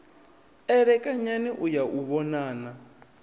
elekanyani u ya u vhonana